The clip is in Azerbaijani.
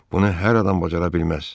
Bunu hər adam bacara bilməz.